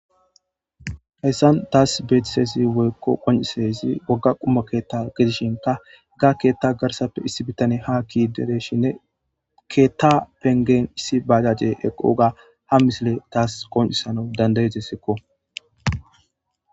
Hayissani taw betidayissi wogga quma ketha gidishini iza ketha garissape issi bitaneyi ha keyishe ketha laniqeni issi bajajeyi eqoyissa qoncidesiko